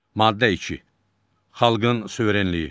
Maddə iki, xalqın suverenliyi.